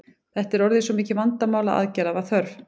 Þetta var orðið svo mikið vandamál að aðgerða var þörf.